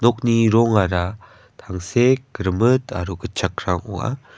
rongara tangsek rimit aro gitchakrang ong·a.